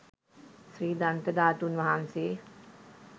ශ්‍රී දන්ත ධාතුන් වහන්සේ